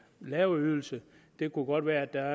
lave ydelse det kunne godt være at der